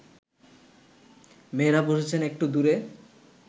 মেয়েরা বসেছেন একটু দূরে